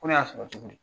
Ko ne y'a sɔrɔ cogo di